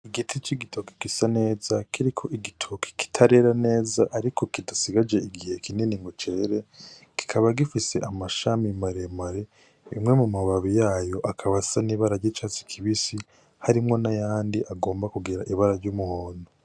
Igiti c'igitoke gisa neza kiriko igitoke kitarera neza ariko kidasigaje igihe kinini ngo cere, kikaba gifise amashami maremare, bimwe mumababi y'ayo akaba asa n'ibara ry'icatsi kibisi, harimwo n'ayandi agomba kugira ibara ry'umuhondo.